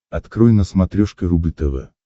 открой на смотрешке рубль тв